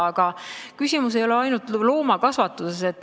Aga küsimus ei ole ainult loomakasvatuses.